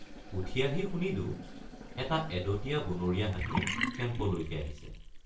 উঠি আহি শুনিলোঁ এটা এদঁতীয়া বনৰীয়া হাতী কেম্পলৈকে আহিছে।